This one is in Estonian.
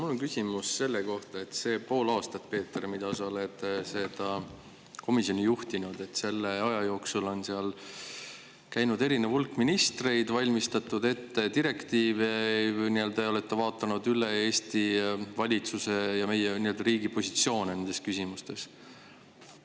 Mul on küsimus selle kohta, et selle poole aasta jooksul, Peeter, kui sa oled seda komisjoni juhtinud, on seal käinud hulk ministreid, on valmistatud ette direktiive ning te olete vaadanud üle Eesti valitsuse ja meie riigi positsioone nendes küsimustes.